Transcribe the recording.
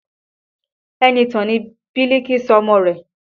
Enitan ni Biliki sọ ọmọ rẹ̀